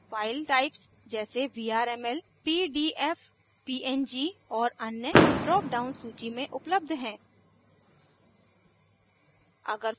file types जैसे vrml pdf png और अन्य drop down सूची में उपलब्ध हैं